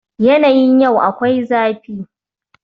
Yanayin yau akwai zafi